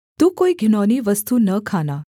तू कोई घिनौनी वस्तु न खाना